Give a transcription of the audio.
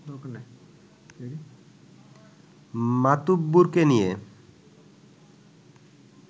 মাতুব্বরকে নিয়ে